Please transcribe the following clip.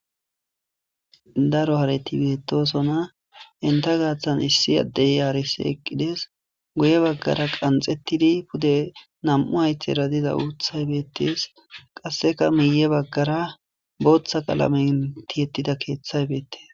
Daro hareti betosona enta gatan issi adey arsi eqides guye bagara qanxetidi pude nam'u haytera diza utay betes qaseka miye bagara botha qalamen tiyetida kethay betes.